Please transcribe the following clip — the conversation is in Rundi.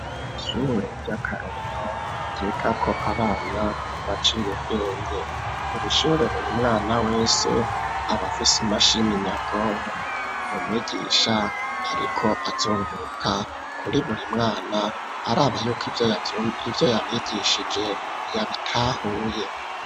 Ishure rya Karorino ryigako abana baciye ubwenge ,irishure buri mwana wese abafise imashimi nyabwonko, umwigisha ariko azunguruka kuri buri mwana araba kivyo yabigishije yabitahuye.